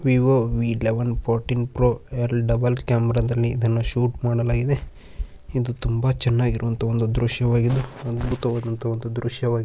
Vivo V eleven fourteen pro double ಕ್ಯಾಮೆ ರದಲ್ಲಿ shoot ಮಾಡಲಾಗಿದೆ ಇದು ತುಂಬಾ ಚೆನ್ನಾಗಿರುವಂತ ಒಂದು ದೃಶ್ಯವಾಗಿದೆ ಅದ್ಬುತವಾದಂತ ಒಂದು ದೃಶ್ಯವಾಗಿದೆ.